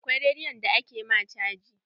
Akwai rediyon da aka ma caji.